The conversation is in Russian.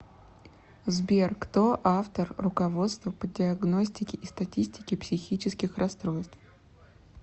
сбер кто автор руководство по диагностике и статистике психических расстройств